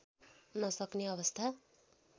नसक्ने अवस्था